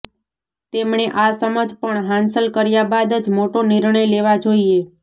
તેમણે આ સમજ પણ હાંસલ કર્યા બાદ જ મોટા નિર્ણય લેવા જોઈએ